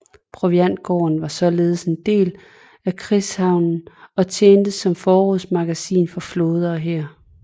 Proviantgården var således en del af krigshavnen og tjente som forrådsmagasin for flåde og hær